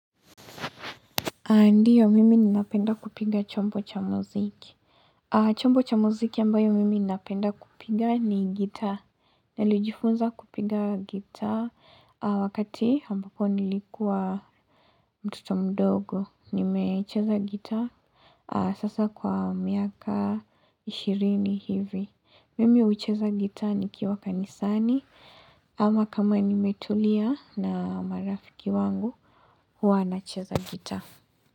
Ndiyo, mimi ninapenda kupiga chombo cha muziki. Chombo cha muziki ambayo mimi ninapenda kupiga ni gitaa. Nalijifunza kupiga gitaa wakati ambapo nilikua mtoto mdogo. Nimecheza gitaa sasa kwa miaka ishirini hivi. Mimi ucheza gitaa nikiwa kanisani ama kama nimetulia na marafiki wangu huwa nacheza gitaa.